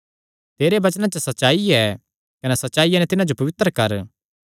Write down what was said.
तेरे वचनां च सच्चाई ऐ कने सच्चाईया नैं तिन्हां जो पवित्र कर